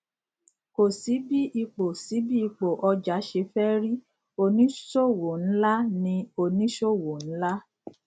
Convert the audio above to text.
ko si bí ipò si bí ipò ọjà ṣe feri óni sọ owó ńlá ni oni sowo nla